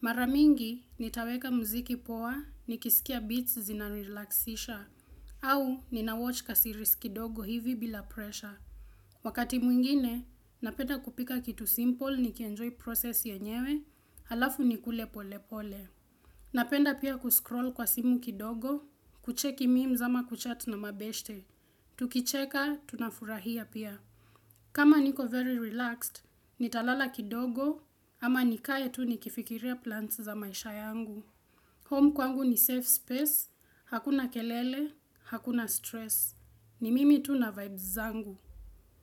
Maramingi, nitaweka mziki poa, nikisikia beats zina relaxisha, au ninawatch ka series kidogo hivi bila pressure. Wakati mwingine, napenda kupika kitu simple nikienjoy process yenyewe, halafu nikule pole pole. Napenda pia kuscroll kwa simu kidogo, kucheki memes ama kuchat na mabeshte. Tukicheka, tunafurahia pia. Kama niko very relaxed, nitalala kidogo ama nikae tu nikifikiria plans za maisha yangu. Home kwangu ni safe space, hakuna kelele, hakuna stress. Ni mimi tu na vibes zangu.